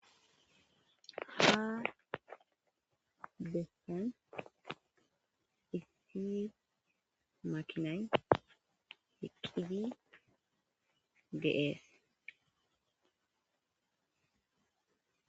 Ha bessan issi makinan eqqidi deees.